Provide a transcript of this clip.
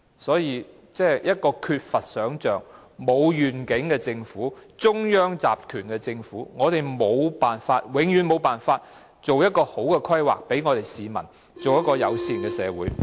所以，一個缺乏想象和沒有願景的政府、一個中央集權的政府，永遠無法為市民妥善地規劃出一個友善的社會。